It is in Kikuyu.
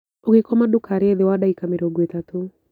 ũgĩkoma ndũkarĩe thĩ wa ndagĩka mĩrongo ĩtatũ